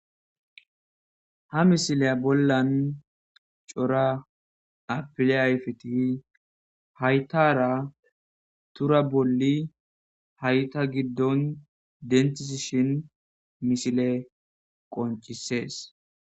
Ha misiliya bolla cora apile ayfet haytara Tura bolli hayta giddo denthisishn misiley qoncises.